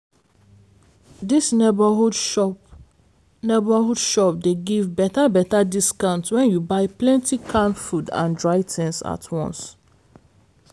dis neighborhood shop neighborhood shop dey give better-better discount when you buy plenty canned food and dry things at once.